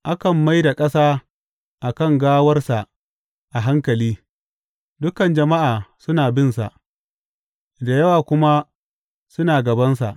Akan mai da ƙasa a kan gawarsa a hankali; dukan jama’a suna binsa, da yawa kuma suna gabansa.